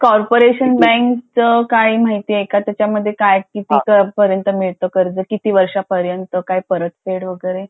आणि Corporation Bank च काय माहिती आहे का त्याचामध्ये किती काय किती मिळत काय किती वर्षापर्यंत परत फेड वैगरे